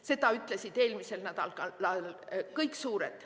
Seda ütlesid eelmisel nädalal kõik suured.